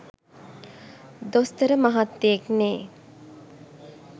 දොස්තර මහත්තයෙක්නේ.